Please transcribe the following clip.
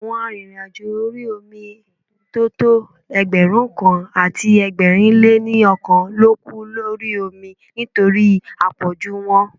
Àwọn arìnrìn-àjò orí omi tó tọ́ Ẹgbẹ̀rúnkan àti ẹgbẹ̀rin lé ní ọkàn ló kú lórí omi nítorí à pọ̀jù wọn.